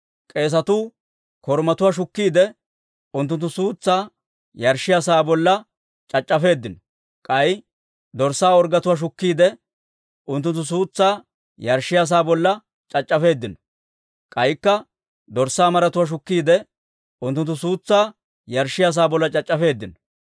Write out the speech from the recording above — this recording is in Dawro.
K'eesetuu korumatuwaa shukkiide, unttunttu suutsaa yarshshiyaa sa'aa bolla c'ac'c'afeeddino. K'ay dorssaa orggetuwaa shukkiide, unttunttu suutsaa yarshshiyaa sa'aa bolla c'ac'c'afeeddino. K'aykka dorssaa maratuwaa shukkiide, unttunttu suutsaa yarshshiyaa sa'aa bolla c'ac'c'afeeddino.